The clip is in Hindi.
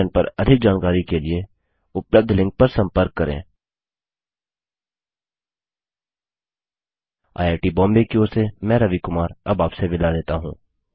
इस मिशन पर अधिक जानकारी के लिए उपलब्ध लिंक पर संपर्क करें httpspoken tutorialorgNMEICT Intro IIT Bombay की ओर से मैं रवि कुमार अब आपसे विदा लेता हूँ